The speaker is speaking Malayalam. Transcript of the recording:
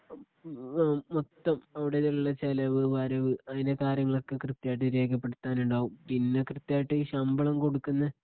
ആം ഹ് മൊത്തം അവിടെയുള്ള ചെലവ് വരവ് അതിനെ കാര്യങ്ങളൊക്കെ കൃത്യമായിട്ട് രേഖപ്പെടുത്താൻ ഉണ്ടാവും പിന്നെ കൃത്യായിട്ട് ഈ ശമ്പളം കൊടുക്കുന്നെ